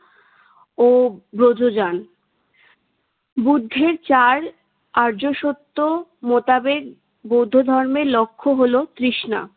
ও ব্রজজান। বুদ্ধের চার আর্য সত্য মোতাবেক বৌদ্ধ ধর্মের লক্ষ্য হলো তৃষ্ণা।